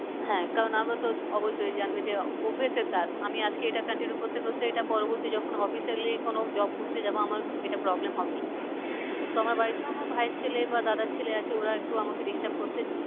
হ্যাঁ কারণ আমরা তো অবশ্যই জানবে যে অভ্যাসের দাস আমি আজকে এটা continue করতে করতে এটা পরবর্তী যখন officially কোনো job করতে যাবো আমার এটা problem হবেই। তো আমার বাড়িতেও আমার ভাইয়ের ছেলে বা দাদার ছেলে আছে ওরা একটু আমাকে disturb করতে